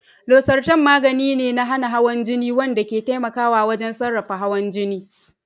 Losartan magani ne na hana hawan jini wanda ke taimakawa wajen sarrafa hawan jini.